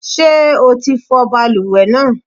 Ṣé o ti fọ balùwẹ̀ náà?